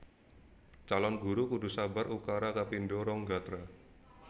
Calon Guru kudu sabar ukara kapindho rong gatra